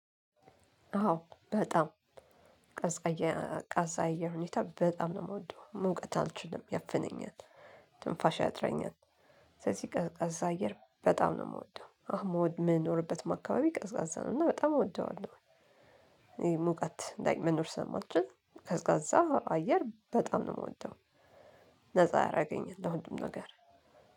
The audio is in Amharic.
አዎ በጣም ቀዝቃዛ የአየር ሁኔታ በጣም ነው የምወደው። ሙቀት አልችልም፤ ያፍነኛል፤ ትንፋሽ ያጥረኛል። ስለዚህ ቀዝቃዛ አየር በጣም ነው የምወደው። አሁን የምኖርበትም አካባቢ ቀዝቃዛ ነው፤ እና በጣም እወደዋለሁ። ሙቀት ላይ መኖር ስለማልችል፤ ቀዝቃዛ አየር በጣም ነው የምወደው። ነፃ አላገኘውም ለሁሉም ነገር።